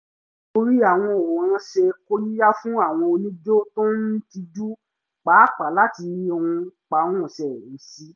ìwúrí àwọn òǹwòran ṣe kóríyá fún àwọn onijó tó ń tijú pàápàá láti runpárunsẹ̀ sí i